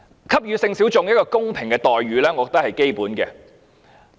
給予性小眾一個公平的待遇，我認為是基本的。